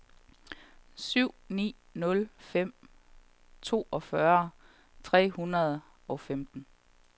syv ni nul fem toogfyrre fire hundrede og femten